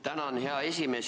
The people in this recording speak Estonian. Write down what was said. Tänan, hea esimees!